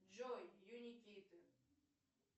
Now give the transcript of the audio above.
джой юникиты